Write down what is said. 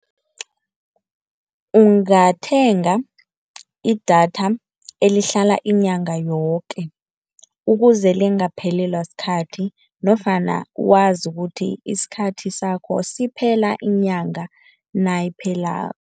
Ungathenga idatha elihlala inyanga yoke ukuze lingaphelelwa sikhathi, nofana wazi ukuthi isikhathi sakho siphela inyanga nayiphelako.